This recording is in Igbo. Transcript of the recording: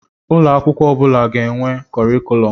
Ụlọ akwụkwọ ọ bụla ga-enwe kọrịkùlum.